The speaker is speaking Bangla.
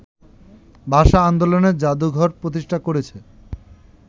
ভাষা-আন্দোলন জাদুঘর প্রতিষ্ঠা করেছে